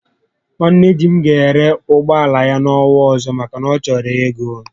Nwanne di m ga ere ụgbọala ya n'ọnwa ọzọ maka na ọ chọrọ ego